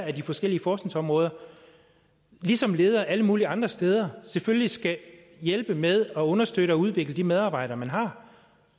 af de forskellige forskningsområder ligesom ledere alle mulige andre steder selvfølgelig skal hjælpe med at understøtte og udvikle de medarbejdere man har